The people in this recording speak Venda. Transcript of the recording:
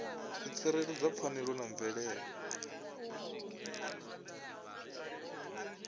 u tsireledza pfanelo dza mvelele